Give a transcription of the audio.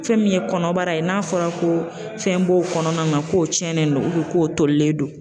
Fɛn min ye kɔnɔbara ye n'a fɔra ko fɛn b'o kɔnɔna na k'o tiɲɛnen don k'o tolilen don.